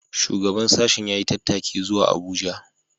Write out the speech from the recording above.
Shugaban sashen ya yi tattaki zuwa Abuja